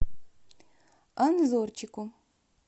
анзорчику